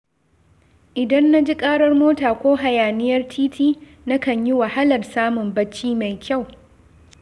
Idan na ji ƙarar mota ko hayaniyar titi, na kan yi wahalar samun bacci mai kyau.